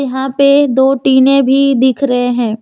यहां पे दो टीने भी दिख रहे हैं।